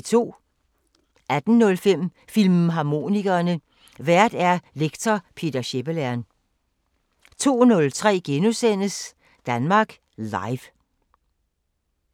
18:05: Filmharmonikerne: Vært lektor Peter Schepelern 02:03: Danmark Live *